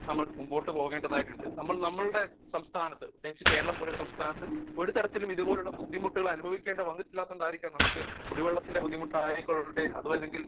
Speaker 1 നമ്മൾ മുമ്പോട്ട് പോവേണ്ടതായിട്ടുണ്ട് . നമ്മൾ നമ്മളെ സംസ്ഥാനത്തു പ്രത്യേകിച്ച് കേരളം പോലുള്ള സംസ്ഥാനത്തു ഒരുതരത്തിലും ഇതുപോലുള്ള ബുദ്ധിമുട്ടുകൾ അനുഭവിക്കേണ്ടി വന്നിട്ടില്ലാത്ത കൊണ്ടായിരിക്കാം നമുക്ക് കുടിവെള്ളത്തിന്റെ ബുദ്ധിമുട്ട് ആയിക്കൊള്ളട്ടെ അതുമല്ലെങ്കിൽ